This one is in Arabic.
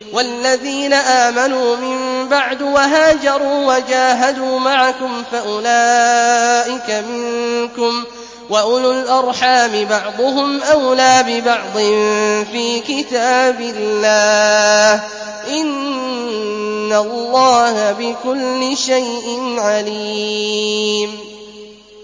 وَالَّذِينَ آمَنُوا مِن بَعْدُ وَهَاجَرُوا وَجَاهَدُوا مَعَكُمْ فَأُولَٰئِكَ مِنكُمْ ۚ وَأُولُو الْأَرْحَامِ بَعْضُهُمْ أَوْلَىٰ بِبَعْضٍ فِي كِتَابِ اللَّهِ ۗ إِنَّ اللَّهَ بِكُلِّ شَيْءٍ عَلِيمٌ